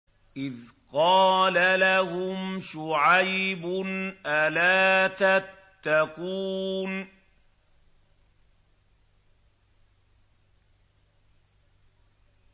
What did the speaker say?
إِذْ قَالَ لَهُمْ شُعَيْبٌ أَلَا تَتَّقُونَ